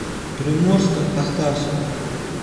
приморско ахтарску